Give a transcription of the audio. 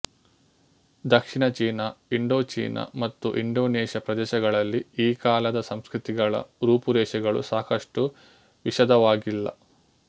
ದಕ್ಷಿಣ ಚೀನ ಇಂಡೋಚೀನ ಮತ್ತು ಇಂಡೋನೇಷ್ಯ ಪ್ರದೇಶಗಳಲ್ಲಿ ಈ ಕಾಲದ ಸಂಸ್ಕೃತಿಗಳ ರೂಪುರೇಷೆಗಳು ಸಾಕಷ್ಟು ವಿಶದವಾಗಿಲ್ಲ